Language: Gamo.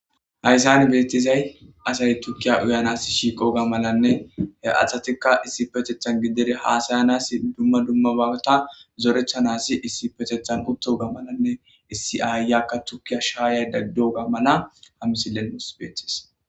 Haysani beeththizay asay thukkiya uyanassi shiiqoogaa malanne he asathikka issipetheththan gidere haasayanassi dumma dummaba hanothaa zoreththanaassi issipetheththan uththogaa malanne issi aayiyakka thukiya shaayaydda doogaa malaa ha misilen nus beeththes.